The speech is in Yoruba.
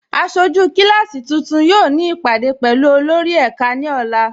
Aṣọjú kíláàsí tuntun yóò ni ipádé pẹ̀lú olórì ẹká ni ọ̀là.